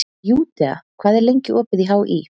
Júdea, hvað er lengi opið í HÍ?